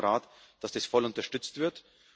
Wir erwarten vom Rat, dass das voll unterstützt wird.